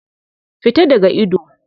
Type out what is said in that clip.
Fita daga ido!